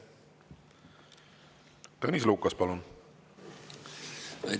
Tõnis Lukas, palun!